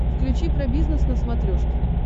включи про бизнес на смотрешке